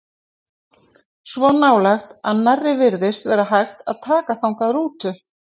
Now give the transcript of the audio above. Svo nálægt að nærri virtist vera hægt að taka þangað rútu.